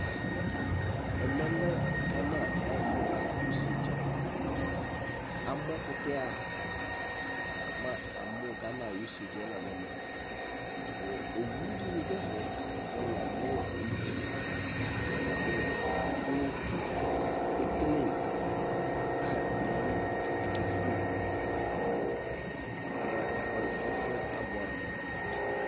Ɛmɛ lɛ Ghana ayu ɛfu ɣa use dza la nu ɛvɛ amu ɛkutɛ mamu nuGhana ayu use dza la nu ɛvɛ ɛfudini du ɛfɛ laku yamu ivi ku ekele pipe du nayu li ki ivi kefue ɛfuɛ abuɛ amʊ